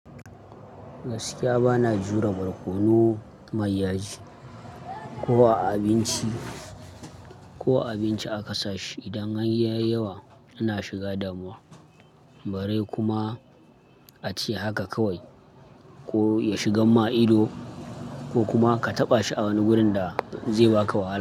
Gaskiya bana jure barkono mai yaji, ko a abinci ko a abinci aka sa shi. Idan har yayi yawa ina shiga damuwa. Bare kuma a ce haka kawai ko ya shigar ma ido, ko kuma ka taɓa shi a wani wurin da zai baka wahala.